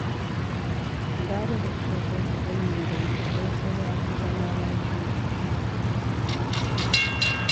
Gara da kika kai kuɗin nan banki, don sai ya fi zama lafiya